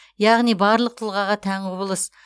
яғни барлық тұлғаға тән құбылыс